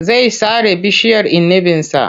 Zai sare bishiyar inibinsa.